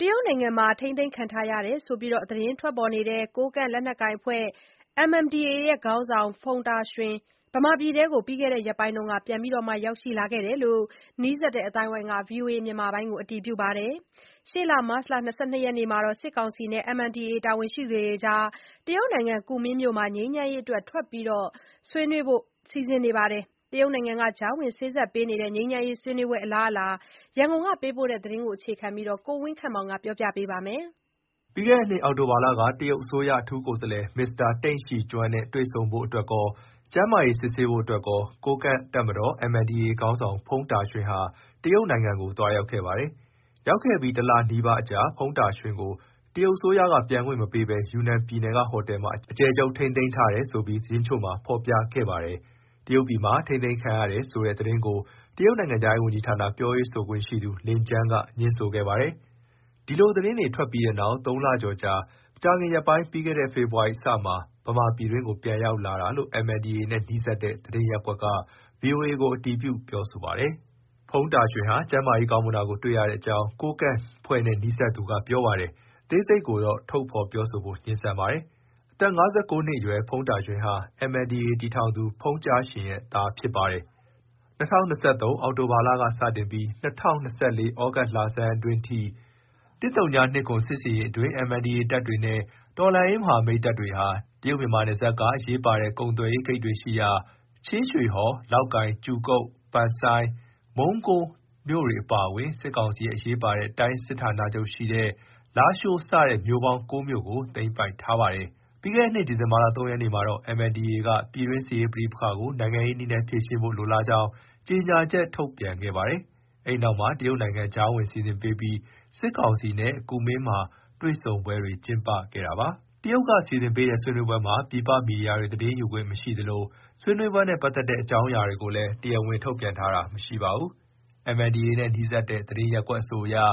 တရုတ်နိုင်ငံမှာ ထိန်းသိမ်းခံထားရတယ်ဆိုပြီး သတင်းထွက်ခဲ့တဲ့ ကိုးကန့်လက်နက်ကိုင်အဖွဲ့ (MNDAA) ခေါင်းဆောင် ဖုန်တာရွှင် ဗမာပြည်တွင်းကိုပြီးခဲ့တဲ့ ရက်ပိုင်းက ပြန်ရောက်လာခဲ့တယ်လို့ နီးစပ်သူ အသိုင်းအဝိုင်းက ဗွီအိုအေကို အတည်ပြုပါတယ်။ ရှေ့လ မတ်လ ၂၂ ရက်မှာလည်း စစ်ကောင်စီနဲ့ MNDAA တာဝန်ရှိသူတွေ တရုတ်နိုင်ငံ ကူမင်းမြို့မှာ ငြိမ်းချမ်းရေးအတွက် ထပ်မံ တွေ့ဆုံဆွေးနွေးဖို့ လည်း စီစဉ်ထားတာပါ။ တရုတ်နိုင်ငံက ကြားဝင်စေ့စပ်ပေးနေတဲ့ ဆွေးနွေးပွဲ အလားအလာ ရန်ကုန်က သတင်းပေးပို့ ထားတာကို အခြေခံပြီးတင်ပြထားပါတယ်။ ပြီးခဲ့တဲ့နှစ် အောက်တိုဘာလက တရုတ်အစိုးရ အထူးကိုယ်စားလှယ် မစ္စတာ တိန့်ရှီကျွင်းနဲ့ တွေ့ဆုံဖို့ အတွက်ကော၊ ကျန်းမာရေးဆေးစစ်ရန်အတွက်ပါ ကိုးကန့်တပ်မတော် (MNDAA) ခေါင်းဆောင် ဖုန်တာရွှင်ဟာ တရုတ်ကို သွားရောက်ခဲ့ပါတယ်။ ရောက်ခဲ့ပြီး တလနီးပါးအကြာမှာ ဖုန်တာရွှင်ကို တရုတ်အစိုးရက ပြန်ခွင့်မပေးဘဲ ယူနန်ပြည်နယ်ကဟိုတယ်မှာ အကျယ်ချုပ် ထိန်းသိမ်းထားတယ် ဆိုပြီး သတင်းတချို့မှာ ဖေါ်ပြခဲ့ပါတယ်။ တရုတ်ပြည်မှာ ထိန်းသိမ်းခံထားရတယ်ဆိုတဲ့သတင်းကို တရုတ်နိုင်ငံခြားရေးဝန်ကြီးဌာန ပြောရေးဆိုခွင့်ရှိသူ လင်ကျန်းက ငြင်းဆိုခဲ့ပါတယ်။ ဒီလိုသတင်းတွေ ထွက်ပြီးနောက် ၃ လကျော်အကြာ မကြာခင်ရက်ပိုင်း ပြီးခဲ့တဲ့ ဖေဖေါ်ဝါရီလအစမှာ ဗမာပြည်တွင်းကို ပြန်ရောက်လာတာလို့ MNDAA နဲ့ နီးစပ်တဲ့ သတင်းရပ်ကွက်က VOA ကို အတည်ပြုပါတယ်။ ဖုန်တာရွှင်ဟာ ကျန်းမာရေး ကောင်းမွန်တာကို တွေ့ရအကြောင်း ကိုးကန့်အဖွဲ့နဲ့နီးစပ်တဲ့သူက ပြောပါ တယ်။ အသေးစိတ်ကိုတော့ ထုတ်ဖော်ပြောဖို့ငြင်းဆန်ပါတယ်။ အသက် ၅၉ နှစ်အရွယ် ဖုန်တာရွှင်ဟာ MNDAA တည်ထောင်သူ ဖုန်ကြားရှင်ရဲ့သားဖြစ်ပါတယ်။ ၂၀၂၃ နှစ် အောက်တိုဘာလကစပြီး ၂၀၂၄ သြဂုတ်လဆန်းအတွင်းထိ ၁၀၂၇ စစ်ဆင်ရေးအတွင်း MNDAA တပ်တွေနဲ့ တော်လှန်ရေးမဟာမိတ် တပ်တွေဟာ တရုတ်-မြန်မာနယ်စပ်က အရေးပါတဲ့ ကုန်သွယ်ရေးဂိတ်တွေရှိရာ ချင်းရွှေဟော်၊ လောက်ကိုင်၊ ကြူကုတ်၊ ပန်ဆိုင်း၊ မုံးကိုမြို့တွေ အပါအဝင် စစ်ကောင်စီရဲ့ အရေးပါတဲ့ တိုင်းစစ်ဌာနချုပ်ရှိရာ လားရှိုးစတဲ့ မြို့ပေါင်း ကိုးမြို့ကို သိမ်းပိုက်ထားပါတယ်။ ပြီးခဲ့တဲ့နှစ် ဒီဇင်ဘာ ၃ ရက်နေ့မှာတော့ MNDAA က ပြည်တွင်းစစ်ရေးပဋိပက္ခကို နိုင်ငံရေးနည်းနဲ့ ဖြေရှင်းဖို့ လိုလားကြောင်း ကြေညာချက် ထုတ်ပြန်ခဲ့ပါတယ်။ အဲနောက်မှာ တရုတ်နိုင်ငံ ကြားဝင်စီစဉ်ပေးပြီး စစ်ကောင်စီနဲ့ကူမင်း မှာ တွေ့ဆုံပွဲတွေ ကျင်းပခဲ့ပါတယ်။ တရုတ်က စီစဉ်ပေးတဲ့ ဆွေးနွေးပွဲမှာ ပြည်ပ မီဒီယာတွေ သတင်းယူခွင့် မရှိသလို ဆွေးနွေးပွဲနဲ့ ပတ်သက်တဲ့အကြောင်းအရာတွေကိုလည်း တရားဝင် ထုတ်ဖေါ်ပြောတာ မရှိပါဘူး။ MNDAA နဲ့ နီးစပ်တဲ့ သတင်းရပ်ကွက်အဆိုအရ မ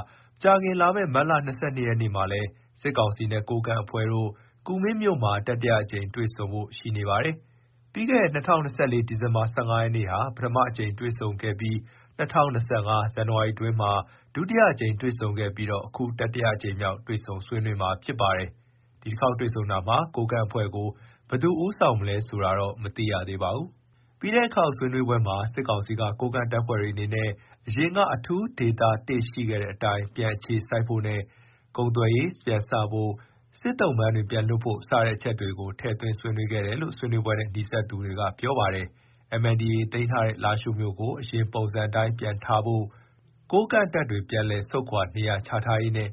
ကြာခင် လာမယ့် မတ်လ ၂၂ ရက်နေ့မှာလည်း စစ်ကောင်စီနဲ့ ကိုးကန့်အဖွဲ့တို့ ကူမင်းမှာ တတိယအကြိမ်မြောက်တွေ့ဆုံဖို့ရှိနေပါတယ်။ ပြီးခဲ့တဲ့ ၂၀၂၄ ဒီဇင်ဘာ ၁၅ ရက်နေ့က ပထမအကြိမ် တွေ့ဆုံခဲ့ပြီး ၂၀၂၅ ဇန်နဝါရီ အတွင်းမှာ ဒုတိယအကြိမ် တွေ့ဆုံခဲ့ကာ ခု တတိယအကြိမ်မြောက်တွေ့ဆုံမှာဖြစ်ပါတယ်။ ဒီတခေါက်တွေ့ဆုံတာမှာ ကိုးကန့်အဖွဲ့ကို ဘယ်သူဦးဆောင်မလဲဆိုတာ မသိရသေးပါဘူး။ ပြီးခဲ့တဲ့အခေါက်ဆွေးနွေးပွဲမှာ စစ်ကောင်စီက ကိုးကန့်တပ်ဖွဲ့တွေအနေနဲ့ အရင်က အထူးဒေသ ၁ ရှိခဲ့တဲ့အတိုင်း ပြန်အခြေစိုက်ဖို့နဲ့ ကုန်သွယ်ရေးပြန်စဖို့ စစ်သုံ့ပန်းတွေပြန်လွှတ်ဖို့ စတဲ့အချက်တွေကို ထည့်သွင်းဆွေးနွေးခဲ့တယ်လို့ ဆွေးနွေးပွဲနဲ့ နီးစပ်သူတွေက ပြောခဲ့ပါတယ်။ MNDAA သိမ်းထားတဲ့ လားရှိုးမြို့ကို အရင်ပုံစံအတိုင်း ပြန်ထားဖို့၊ ကိုးကန့်တပ်တွေ ပြန်လည်ဆုတ်ခွာနေရာချရေးနဲ့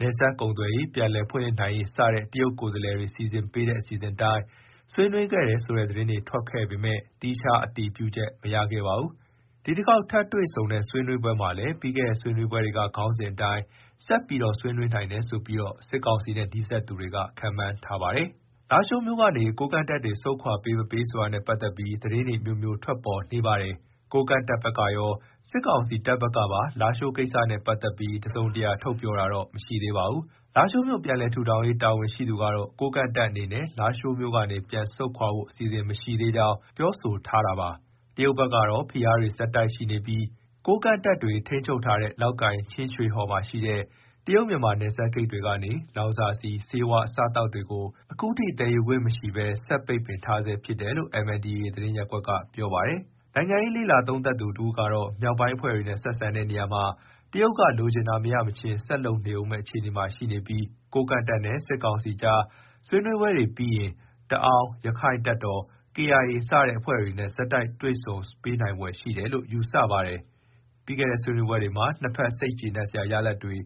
နယ်စပ်ကုန်သွယ်ရေး ပြန်လည်ဖွင့်လှစ်နိုင်ရေး စတဲ့ တရုတ်ကိုယ်စားလှယ်တွေ စီစဉ်ပေးခဲ့တဲ့ အစီအစဉ်အတိုင်း ဆွေးနွေးခဲ့တယ်ဆိုတဲ့ သတင်းတွေထွက်ခဲ့ပေမဲ့ သီးခြားအတည်ပြုချက် မရခဲ့ပါဘူး။ ဒီတခေါက်ထပ်တွေ့ဆုံတဲ့ ဆွေးနွေးပွဲမှာလည်း ပြီးခဲ့တဲ့ ဆွေးနွေးပွဲတွေက ခေါင်းစဉ်အတိုင်း ဆက် ဆွေးနွေးနိုင်တယ်ဆိုပြီး စစ်ကောင်စီနဲ့နီးစပ်သူတွေက ခန့်မှန်းထားပါတယ်။ လားရှိုးမြို့ကနေ ကိုးကန့်တပ်တွေ ဆုတ်ခွာပေးမပေးဆိုတာနဲ့ ပတ်သက်ပြီး သတင်းတွေ အမျိုးမျိုး ထွက်ပေါ်နေပါတယ်။ ကိုးကန့်တပ်ဘက်ကရော စစ်ကောင်စီတပ်ဘက်ကပါ လားရှိုးကိစ္စနဲ့ ပတ်သက်ပြီး တစုံတရာထုတ်ပြောတာတော့ မရှိသေးပါဘူး။ လားရှိုးမြို့ ပြန်လည်ထူထောင်ရေး တာဝန်ရှိသူကတော့ ကိုးကန့်တပ်အနေနဲ့ လားရှိုးမြို့ကနေ ပြန်ဆုတ်ခွာဖို့ အစီအစဉ်မရှိသေးကြောင်း ပြောဆိုထားပြန် ပါတယ်။ တရုတ်ဘက်ကတော့ ဖိအားပေးမှုတွေ ဆက်ရှိနေပြီး ကိုးကန့်တပ်တွေ ထိန်းချုပ်ထားတဲ့ လောက်ကိုင်၊ ချင်းရွှေဟော်ရှိ တရုတ်မြန်မာနယ်စပ်ဂိတ်တွေကနေ လောင်စာဆီ၊ ဆေးဝါး၊ အစားအသောက်တွေကို ခုထိသယ်ယူခွင့်မရှိဘဲ ဆက် ပိတ်ပင်ထားဆဲဖြစ်တယ်လို့ MNDAA သတင်းရပ်ကွက်က ပြောပါတယ်။ နိုင်ငံရေးလေ့လာသုံးသပ်သူတဦးကတော့ မြောက်ပိုင်းအဖွဲ့တွေနဲ့ဆက်ဆံတဲ့နေရာမှာ တရုတ်က လိုချင်တာမရမချင်း ဆက်လုပ်နေဦးမယ့်အခြေအနေရှိနေပြီး ကိုးကန့်တပ်နဲ့ စစ်ကောင်စီအကြား ဆွေးနွေးပွဲတွေပြီးရင် တအောင်း၊ ရက္ခိုင့်တပ်တော်၊ ကေအိုင်အေ စတဲ့အဖွဲ့တွေနဲ့ ဆက်တိုက်တွေ့ဆုံ ပေးနိုင်ဖွယ်ရှိတယ်လို့ ယူဆပါတယ်။ ပြီးခဲ့တဲ့ ဆွေးနွေးပွဲတွေမှာ နှစ်ဖက် စိတ်ကျေနပ်စရာရလဒ်တွေ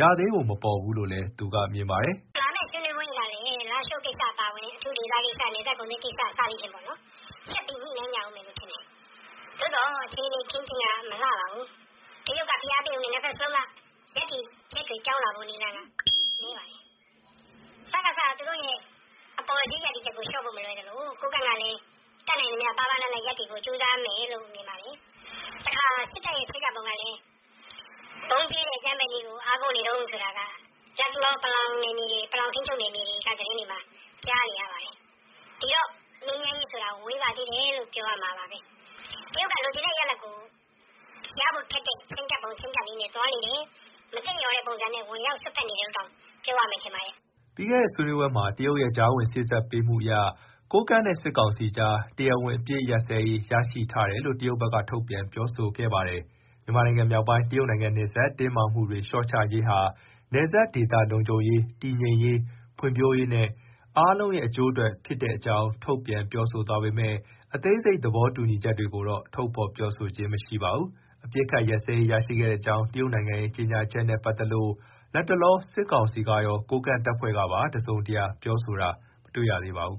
ရသေးပုံမပေါ်သေးဘူးလို့လည်း သူကမြင်ပါတယ်။ “လာမယ့်ဆွေးနွေးပွဲမှာလည်း လားရှိုးကိစ္စ၊ အထူးဒေသကိစ္စ၊ နယ်စပ်ကုန်သွယ်ရေးကိစ္စ၊ အဲဒါ့တွေ ဆက်ညှိနှိုင်းကြဦးမယ်ထင်တယ်။ သို့သော်အခြေအနေအ ခင်းအကျင်းမလှပါဘူး။ တရုတ်ကဖိအားပေး ပေမဲ့ နှစ်ဘက်စလုံးက ရပ်တည်ချက်တွေပြောင်းဖို့နည်းပါတယ်။ စကစ,က သူတို့အပေါ်စီး ရပ်တည် ချက်ကို လျှော့ဖို့မလွယ်သလို ကိုးကန့်ကလည်း တတ်နိုင်သမျှ ပါးပါးနပ်နပ်ရပ်မယ်လို့ မြင်တယ်။ လက်ရှိအချိန်ထိ စစ်ကောင်စီက ဗုံးကြဲတဲ့အကြမ်းဖက်နည်းကိုသာ အားကိုးနေတုန်းဆိုတာ တအောင်း ပလောင်ထိန်းချုပ်နယ်မြေတွေမှာကြားနေရတယ်။ ဒီတော့ ငြိမ်းချမ်းရေးဆိုတာ ဝေးသေးတယ်လို့ ပြောရမယ်။ တရုတ်က ရဖို့ခက်တဲ့ချဉ်းကပ်ပုံချဉ်းကပ်နည်းနဲ့သွားနေတယ်။ မသင့်လျော်တဲ့ပုံစံနဲ့ ဝင်ရောက်စွက်ဖက်နေတယ်လို့ ပြောရမယ်ထင်ပါတယ်။” ပြီးခဲ့တဲ့ ဆွေးနွေးပွဲအပြီးမှာ တရုတ်ရဲ့ကြားဝင်စေ့စပ်မှုအရ ကိုးကန့်နဲ့စစ်ကောင်စီအကြား တရားဝင် အပစ်အခတ်ရပ်စဲရေး ရရှိထားတယ်လို့ တရုတ်ဘက်က ထုတ်ပြန်ပြောဆိုထားပါတယ်။ မြန်မာနိုင်ငံ မြောက်ပိုင်း တရုတ်နိုင်ငံနယ်စပ် တင်းမာမှုတွေ လျှော့ချရေးဟာ နယ်စပ်ဒေသ လုံခြုံရေး၊ တည်ငြိမ်ရေး၊ ဖွံ့ဖြိုးရေးနဲ့ အားလုံးရဲ့ အကျိုးအတွက်ဖြစ်တဲ့အကြောင်း ထုတ်ပြန်ပြောဆိုသွားပေမဲ့ အသေးစိတ် သဘောတူညီချက်တွေကိုတော့ ထုတ်ဖေါ် ပြောဆိုခြင်း မရှိပါဘူး။ အပစ်အခတ် ရပ်စဲရေး ရရှိခဲ့ကြောင်း တရုတ်နိုင်ငံရဲ့ ကြေညာချက်နဲ့ ပတ်သက်လို့ လတ်တလော စစ်ကောင်စီကရော၊ ကိုးကန့်တပ်ဖွဲ့ကပါ တစုံတရာ ပြောဆိုတာတော့ မတွေ့ရသေးပါဘူး